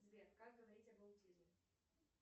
сбер как говорить об аутизме